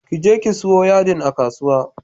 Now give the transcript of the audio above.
Ki je ki siyo yadin a kasuwa.